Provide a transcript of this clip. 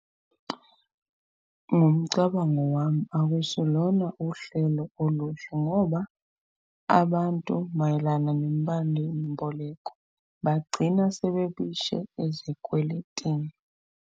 Ngomcabango wami akusulona uhlelo ngoba abantu, mayelana bagcina sebebishe ezikweletini.